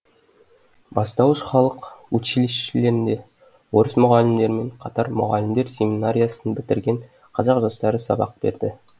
бастауыш халық училищелерінде орыс мұғалімдермен қатар мұғалімдер семинариясын бітірген қазақ жастары сабақ берді